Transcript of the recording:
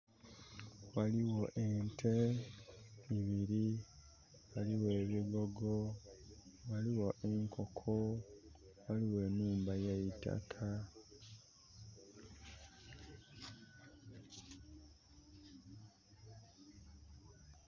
Waliwo ente ibiri waliwo ebigogo waliwo enkoko waliwo enhumba eyeitakka